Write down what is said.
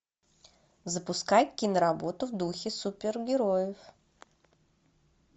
запускай киноработу в духе супергероев